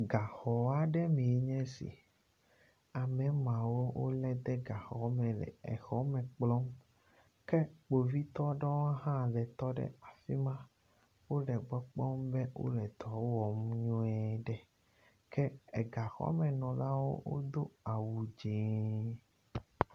Gaxɔaɖemeɛ nye si amemawo wóle de gaxɔme le exɔme kplɔ ke kpovitɔɖewo hã le tɔɖe afima wóle gbɔ kpɔm be wóle dɔwɔm nyuiɖe ke egaxɔmenɔlawo wodó awu dzɛ̃